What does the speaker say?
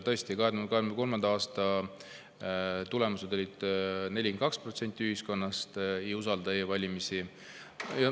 Tõesti 2023. aasta tulemused olid, et 42% ühiskonnast ei usalda e-valimisi.